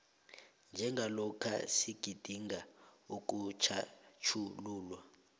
njengalokha sigidinga ukutjhatjhululwa